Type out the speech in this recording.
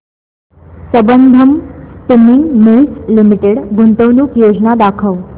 Sambandam spinning mills limited गुंतवणूक योजना दाखव